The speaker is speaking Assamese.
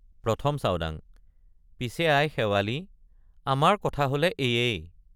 ১ম চাওডাংপিছে আই শেৱালি আমাৰ কথা হলে এয়েই।